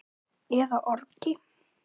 eða orgi.